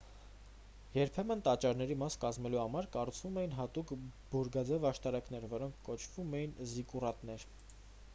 երբեմն տաճարների մաս կազմելու համար կառուցվում էին հատուկ բուրգաձեև աշտարակներ որոնք կոչվում էին զիկկուրատներ